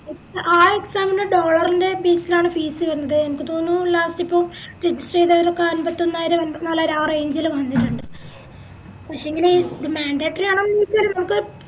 ആഹ് exam ന് dollar ൻറെ base ലാണ് fees വെര്ന്നത് എനിക്ക് തോന്നുന്നു last ഇപ്പൊ ലോക്കെ അമ്പത്തൊന്നായിരം അമ്പത്തനാലായിരം ആ range ല് വന്നിറ്റിണ്ട് പക്ഷേങ്കില് ഇത് mandatory ആണോന്ന് ചോയിച്ച നമുക്ക്